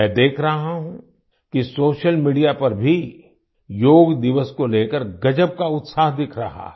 मैं देख रहा हूँ कि सोशल मीडिया पर भी योग दिवस को लेकर गजब का उत्साह दिख रहा है